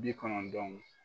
Bi kɔnɔntɔn